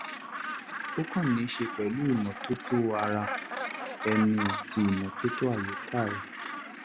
ó kàn níí ṣe pẹ̀lú ìmọ́tótó ara ẹni àti ìmọ́tótó àyíká rẹ